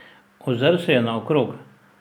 Ozrl se je naokrog.